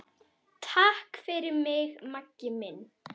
Takk fyrir mig, Maggi minn.